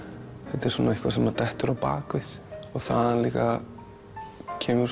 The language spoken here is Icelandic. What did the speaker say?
þetta er svona eitthvað sem dettur á bak við og þaðan líka kemur